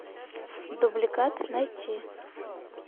дубликат найти